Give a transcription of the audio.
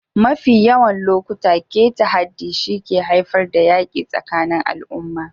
Mafi yawan lokuta, keta haddi shi ke haifar da yaƙi tsakanin al'umma.